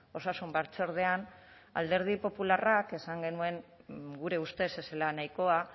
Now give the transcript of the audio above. osasun batzordean alderdi popularrak esan genuen gure ustez ez zela nahikoa